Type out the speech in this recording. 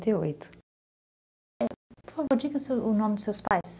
Por favor, diga o nome dos seus pais.